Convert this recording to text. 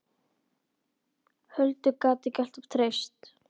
Huldu gat ég alltaf treyst.